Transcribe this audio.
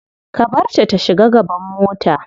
Ka barta ta shiga gaban mota.